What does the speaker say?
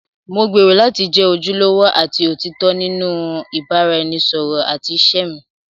Mo gbèrò láti jẹ́ ojúlówó àti òtítọ́ nínú ìbáraẹnisọ̀rọ̀ àti ìṣe mi.